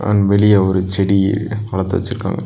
அங்க வெளிய ஒரு செடி வளத்து வெச்சிருக்காங்--